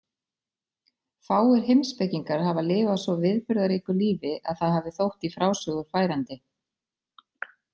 Fáir heimspekingar hafa lifað svo viðburðaríku lífi að það hafi þótt í frásögur færandi.